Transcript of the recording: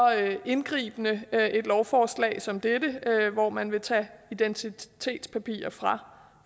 indgribende et lovforslag som dette hvor man vil tage identitetspapirer fra